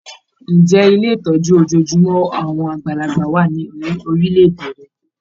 Ǹjẹ́ Ilé ìtọ́jú ojojúmọ́ àwọn àgbàlagbà wà ní orílẹ̀-èdè rẹ?